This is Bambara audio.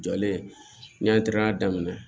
Jɔlen n y'a daminɛ